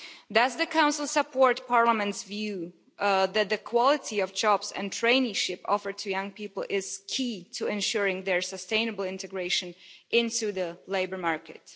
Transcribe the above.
Does the Council support Parliament's view that the quality of jobs and traineeships offered to young people is key to ensuring their sustainable integration into the labour market?